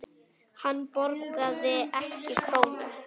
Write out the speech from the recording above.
Hann borgaði ekki krónu.